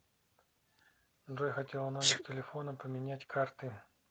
джой хотела номер телефона поменять карты